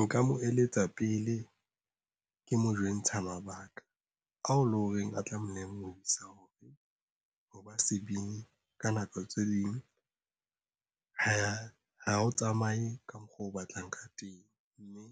Nka mo eletsa pele ke mo jwentsha mabaka ao le ho reng a tla molemohisa hore ho ba sebini ka nako tse ding ho ha o tsamaye ka mokgo o batlang ka teng, mme